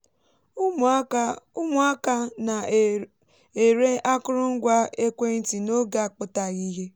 ụmụaka ụmụaka na-ere akụrụngwa ekwentị n’oge akpụtaghị ihe